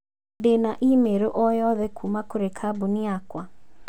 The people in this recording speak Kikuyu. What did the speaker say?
Ndĩna i-mīrū o yothe kuuma kũrĩ kambuni yakwa.